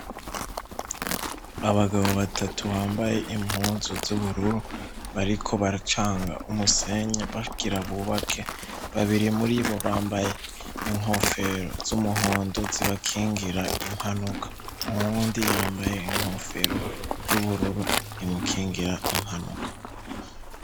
Abagabo batatu bambaye impunzu z'ubururu bariko baracanga umusenye babwira bubake babiri muri bo bambaye inkofero z'umuhondo zibakingira impanuka uwundi yambaye inkofero y'ubururu imukingira impanuka.